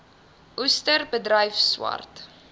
oester bedryf swart